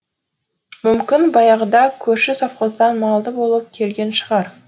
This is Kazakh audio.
мүмкін баяғыда көрші совхоздан малды болып келген шығар